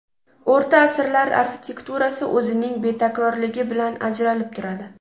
O‘rta asrlar arxitekturasi o‘zining betakrorligi bilan ajralib turadi.